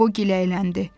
Qobo gilələndi.